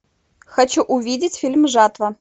хочу увидеть фильм жатва